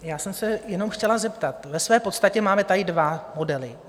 Já jsem se jenom chtěla zeptat: ve své podstatě tady máme dva modely.